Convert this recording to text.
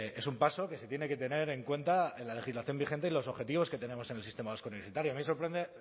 es un paso que se tiene que tener en cuenta en la legislación vigente y los objetivos que tenemos en el sistema vasco universitario a mí me sorprende